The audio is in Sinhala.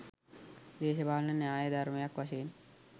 දේශපාලන න්‍යාය ධර්මයක් වශයෙන්